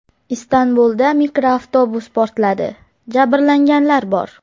Istanbulda mikroavtobus portladi, jabrlanganlar bor.